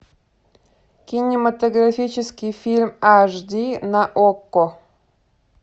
кинематографический фильм аш ди на окко